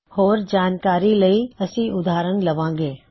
ਹੋਰ ਜਾਣਕਾਰੀ ਲਈ ਅਸੀ ਓਦਾਹਰਣ ਲਵਾਂਗੇ